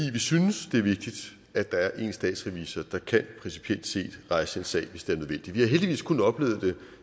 vi synes det er vigtigt at der er én statsrevisor der principielt set kan rejse en sag hvis det er nødvendigt vi har heldigvis kun oplevet det